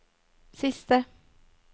siste